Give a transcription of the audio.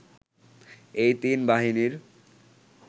এই তিন বাহিনীর